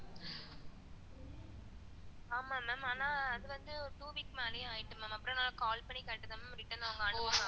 ஆமா ma'am அனா அது வந்து two weeks மேலையே ஆயிடுச்சு ma'am, அப்பறம் நான் call பண்ணி கேட்டதுக்கு அப்பறம் அது வந்து return அவங்க அனுப்புனாங்க